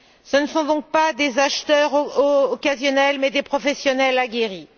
Ce ne sont donc pas des acheteurs occasionnels mais des professionnels aguerris.